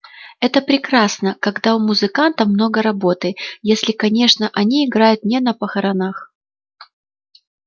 это прекрасно когда у музыкантов много работы если конечно они играют не на похоронах